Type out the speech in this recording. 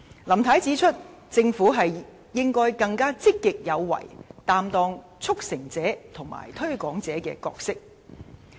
林太指出，政府應該更積極有為，擔當"促成者"及"推廣者"的角色。